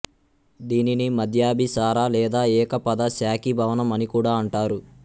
దీనిని మధ్యాభిసార లేదా ఏకపద శాఖీభవనం అని కూడా అంటారు